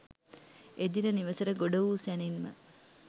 එදින නිවෙසට ගොඩ වූ සැණින්ම